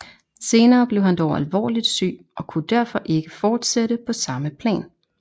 Senere blev han dog alvorligt syg og kunne derfor ikke fortsætte på samme plan